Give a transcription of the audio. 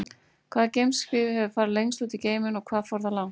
Hvaða geimskip hefur farið lengst út í geiminn og hvað fór það langt?